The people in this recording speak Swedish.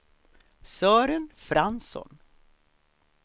Sören Fransson